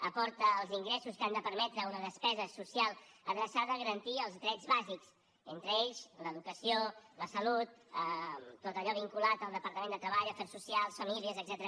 aporta els ingressos que han de permetre una despesa social adreçada a garantir els drets bàsics entre ells l’educació la salut tot allò vinculat al departament de treball afers socials i famílies etcètera